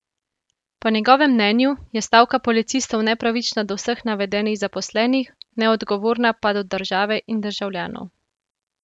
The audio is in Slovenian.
Po njegovem mnenju je stavka policistov nepravična do vseh navedenih zaposlenih, neodgovorna pa do države in državljanov.